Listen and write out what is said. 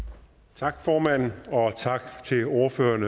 tak tak til ordføreren